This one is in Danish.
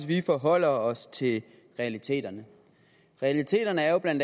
vi forholder os til realiteterne realiteterne er jo bla